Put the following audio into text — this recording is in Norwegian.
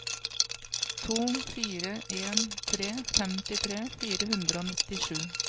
to fire en tre femtitre fire hundre og nittisju